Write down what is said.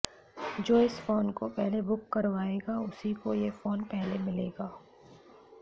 जो इस फ़ोन को पहले बुक करवाएगा उसी को यह फ़ोन पहले मिलेगा